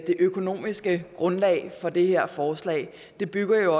det økonomiske grundlag for det her forslag det bygger jo